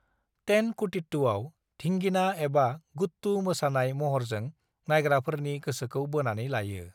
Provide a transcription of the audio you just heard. तेनकुटीट्टुआव 'धींगिना' एबा 'गुट्टू' मोसानाय महरजों नायग्राफोरनि गोसोखौ बोनानै लायो।